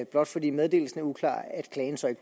blot fordi meddelelsen er uklar